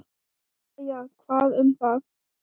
Jæja, hvað um það.